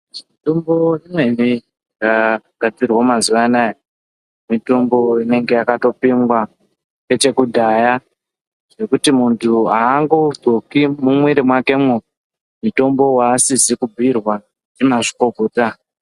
Mutombo dzimweni dzaakugadzirwa mazuwa anaya , mitombo inenge yakatopimwa nechekudhaya zvekuti muntu aangozopi mumwiri mwakemwo mutombo waasizi kubhiirwa ndimazvikokota.